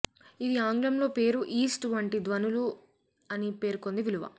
ఇది ఆంగ్లంలో పేరు ఈస్ట్ వంటి ధ్వనులు అని పేర్కొంది విలువ